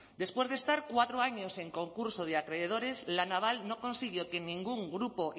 después de estar cuatro años en concurso de acreedores la naval no consiguió que ningún grupo